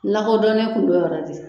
N lakodɔnnen tun don yɔrɔ de